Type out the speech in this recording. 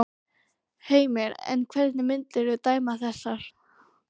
Heimir: En hvernig myndirðu dæma þessar?